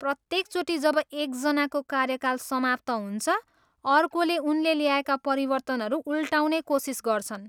प्रत्येकचोटि जब एकजनाको कार्यकाल समाप्त हुन्छ, अर्कोले उनले ल्याएका परिवर्तनहरू उल्टाउने कोसिस गर्छन्।